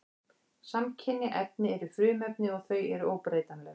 Samkynja efni eru frumefni og þau eru óbreytanleg.